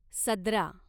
सदरा